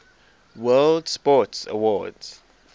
world sports awards